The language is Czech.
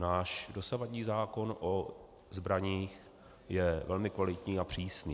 Náš dosavadní zákon o zbraních je velmi kvalitní a přísný.